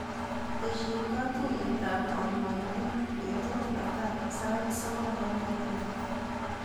Tesyi katuiyetap kanyaindet betut netai sait sokol eng kalendait.